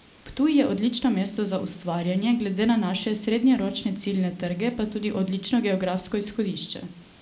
Ptuj je odlično mesto za ustvarjanje, glede na naše srednjeročne ciljne trge pa tudi odlično geografsko izhodišče.